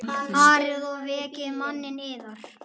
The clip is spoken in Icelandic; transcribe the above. Farið og vekið manninn yðar.